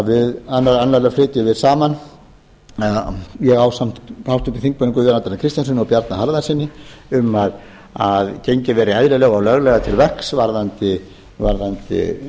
við meðal annarra flytjum saman ég ásamt háttvirtum þingmanni guðjóni arnari kristjánssyni og bjarna harðarsyni um að gengið verði eðlilega og löglega til verks varðandi